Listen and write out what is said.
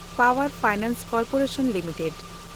ᱯᱟᱣᱮᱱᱰ finance corporation limited